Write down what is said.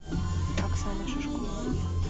оксана шишкова